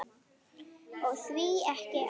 Og því ekki það.